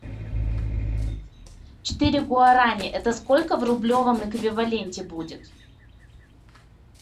четыре гуарани это сколько в рублевом эквиваленте будет